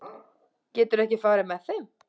Geturðu ekki farið með þeim?